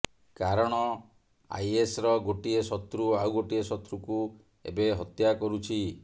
କାରଣ ଆଇଏସର ଗୋଟିଏ ଶତ୍ରୁ ଆଉ ଗୋଟିଏ ଶତ୍ରୁକୁ ଏବେ ହତ୍ୟା କରୁଛି